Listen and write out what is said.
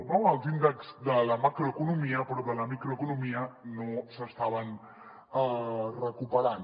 no els índexs de la macroeconomia però de la microeconomia no s’estaven recuperant